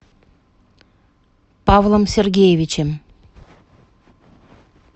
павлом сергеевичем